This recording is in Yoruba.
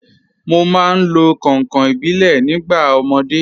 Mo máa ń lo kànkàn ìbílẹ̀ nígbà ọmọdé.